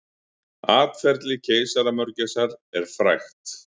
Atferli keisaramörgæsar er frægt.